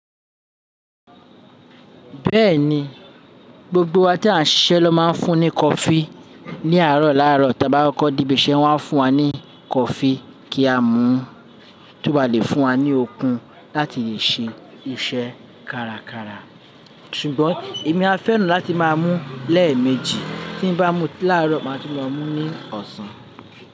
Bẹ́ẹ̀ni, gbogbo wa tí à ń ṣiṣẹ́ ló máa ń fún ní coffee. Ni àárọ̀ lárọ̀ tí a bá kọ́ di ibi iṣẹ́ wọ́n á fún wa ní coffee kí á mú, tó bá lè fún wa ní okun láti lè ṣe iṣẹ́ kára kára. Ṣùgbọ́n èmi a fẹ́ràn láti máa mú lẹ́ẹ̀mejì. Tí n bá mú láàárọ̀, màá tún lo mú ní ọ̀sán.